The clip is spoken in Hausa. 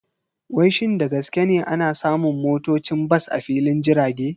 Wai shin da gaske ne ana samun motocin bas a filin jirage?